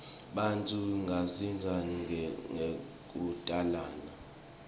bantfu bandzisana ngekutalana